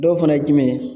Dɔw fana ye jumɛn ye